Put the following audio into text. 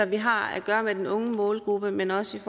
vi har at gøre med den unge målgruppe men også